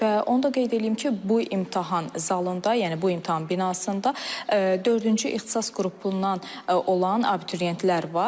Və onu da qeyd eləyim ki, bu imtahan zalında, yəni bu imtahan binasında dördüncü ixtisas qrupundan olan abituriyentlər var.